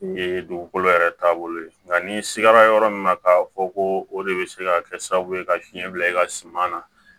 Ye dugukolo yɛrɛ taabolo ye nka n'i sigara yɔrɔ min na k'a fɔ ko o de bɛ se ka kɛ sababu ye ka fiɲɛ bila e ka suman na